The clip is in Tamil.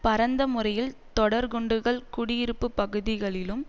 பரந்த முறையில் தொடர்குண்டுகள் குடியிருப்புப்பகுதிகளிலும்